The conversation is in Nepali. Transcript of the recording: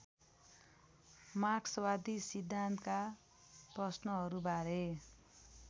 मार्क्सवादी सिद्धान्तका प्रश्नहरूबारे